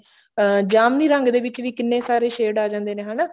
ਅਹ ਜਾਮਨੀ ਰੰਗ ਦੇ ਵਿੱਚ ਵੀ ਕਿੰਨੇ ਸਾਰੇ shade ਆ ਜਾਂਦੇ ਨੇ ਹਨਾ